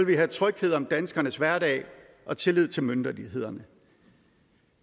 vi have tryghed om danskernes hverdag og tillid til myndighederne